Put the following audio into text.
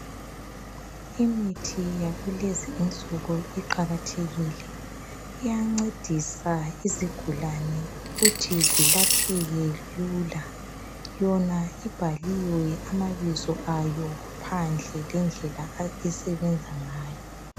Imithi yesintu iqakathekile iyancedisa izigulane ukuthi zilapheke lula. Yona ibhaliwe amabizo ayo phandle lendlela esebenza ngayo.